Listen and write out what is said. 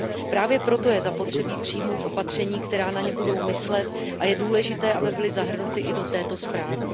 Právě proto je zapotřebí přijmout opatření, která na ně budou myslet, a je důležité, aby byly zahrnuty i do této zprávy.